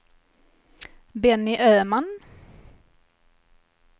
Benny Öman